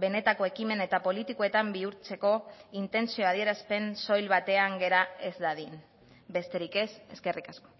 benetako ekimen eta politikoetan bihurtzeko intentzio adierazpen soil batean gera ez dadin besterik ez eskerrik asko